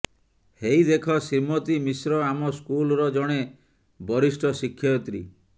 ହେଇ ଦେଖ ଶ୍ରୀମତୀ ମିଶ୍ର ଆମ ସ୍କୁଲ୍ର ଜଣେ ବରିଷ୍ଠ ଶିକ୍ଷୟିତ୍ରୀ